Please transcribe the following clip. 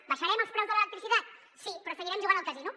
abaixarem els preus de l’electricitat sí però seguirem jugant al casino